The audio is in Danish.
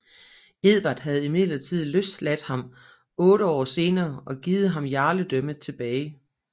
Edvard havde imidlertid løsladt ham otte år senere og givet ham jarledømmet tilbage